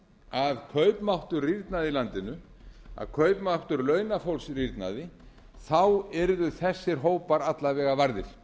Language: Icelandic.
að kaupmáttur rýrnaði í landinu að kaupmáttur launafólks rýrnaði yrðu þessar hópar alla vega varðir